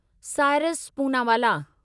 Cyrus Poonawalla